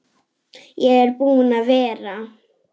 Ég er búinn að vera.